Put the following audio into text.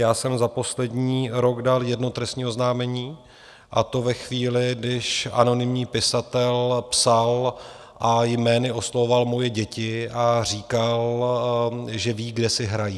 Já jsem za poslední rok dal jedno trestní oznámení, a to ve chvíli, když anonymní pisatel psal a jmény oslovoval moje děti a říkal, že ví, kde si hrají.